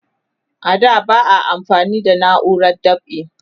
a da ba a amfani da nauran dab'i